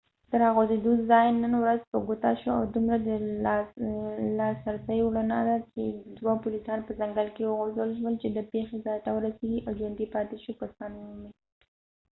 د راغورځېدو ځای نن ورځ په ګوته شو او دومره د لاسرسۍ وړ نه دی چې دوه پولیسان په ځنګل کې وغورځول شول چې د پیښې ځای ته ورسيږي او ژوندي پاتې شوي کسان ومومي